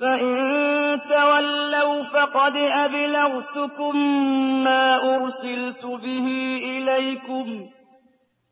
فَإِن تَوَلَّوْا فَقَدْ أَبْلَغْتُكُم مَّا أُرْسِلْتُ بِهِ إِلَيْكُمْ ۚ